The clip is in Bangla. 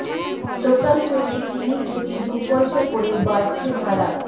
লোকাল ট্রেনে কিমি প্রতি দু পয়সা করে বাড়ছে ভাড়া